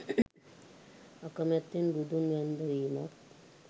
අකමැත්තෙන් බුදුන් වැන්ද වීමක්